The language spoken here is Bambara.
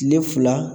Tile fila